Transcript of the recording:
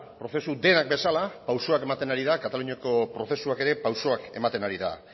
prozesu denak bezala pausuak ematen ari da kataluniako prozesuak ere pausuak ematen ari da